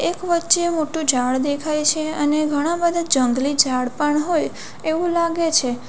એક વચ્ચે મોટું ઝાડ દેખાય છે અને ઘણા બધા જંગલી ઝાડ પણ હોય એવું લાગે છે.